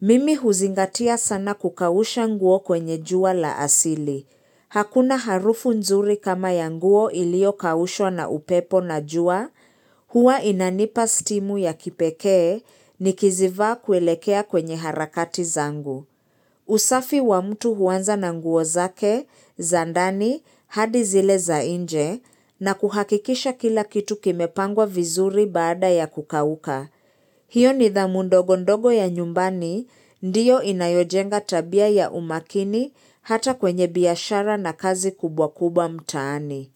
Mimi huzingatia sana kukausha nguo kwenye jua la asili. Hakuna harufu nzuri kama yanguo ilio kaushwa na upepo na jua, huwa inanipa stimu ya kipekee ni kizivaa kwelekea kwenye harakati zangu. Usafi wa mtu huanza nanguo zake, zandani, hadi zile za inje, na kuhakikisha kila kitu kimepangwa vizuri baada ya kukauka. Hiyo ni dhamundo gondogo ya nyumbani, ndiyo inayojenga tabia ya umakini hata kwenye biashara na kazi kubwa kubwa mtaani.